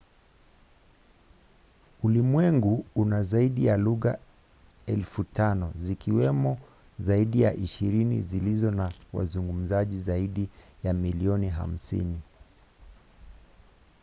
ulimwengu una zaidi ya lugha 5,000 zikiwemo zaidi ya ishirini zilizo na wazungumzaji zaidi ya milioni 50